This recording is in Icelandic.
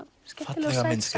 skemmtileg